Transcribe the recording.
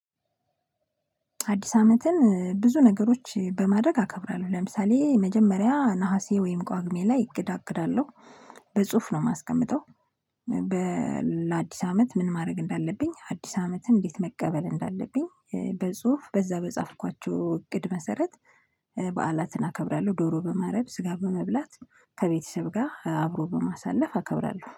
አዲስ አመትን ብዙ ነገሮች በማረግ አከብራለሁ ለምሳሌ መጀመሪያ ነሀሴ ወይም ቋግሜ ላይ አቅዳለሁ በጽሁፍ ነው ማስቀምጠው። ለአዲስ አመት ምን ማረግ እንዳለብኝ አዲስ አመትን እንዴት መቀበል እንዳለብኝ። በጽሁፍ በዛ በጻፍኳቸው እቅድ መሰረት በዓላትን አከብራለሁ። ዶሮ በማረድ ስጋ በመብላት ከቤተሰብ ጋ አብሮ በማሳለፍ አከብራለሁ